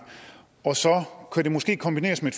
og så kan det måske kombineres med